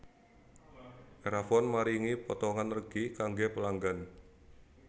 Erafone maringi potongan regi kangge pelanggan